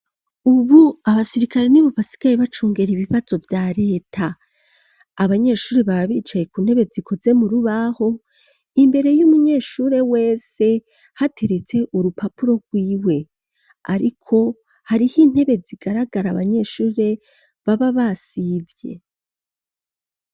Ubu abasirikare n'ibo basigaye bacungera ibibazo vya reta abanyeshuri babe bicaye ku ntebe zikoze mu rubaho imbere y'umunyeshuri wese hateretse urupapuro rw'iwe ariko hariho intebe zigaragara abanyeshuri baba basivye.